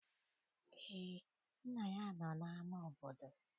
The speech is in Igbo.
Eé, nna ya nọ n'ama obodo